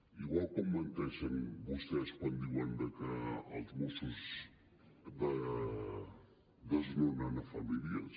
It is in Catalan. igual com menteixen vostès quan diuen que els mossos desnonen famílies